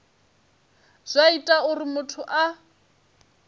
zwa ita uri muthu a